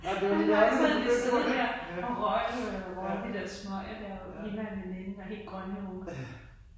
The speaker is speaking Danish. Ej men nej så havde de siddet der og røget de der smøger der hende og en veninde. Var helt grønne i hovedet